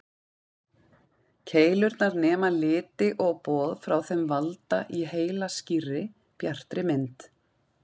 Keilurnar nema liti og boð frá þeim valda í heila skýrri, bjartri mynd.